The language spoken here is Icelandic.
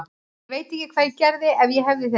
Ég veit ekki hvað ég gerði ef ég hefði þig ekki.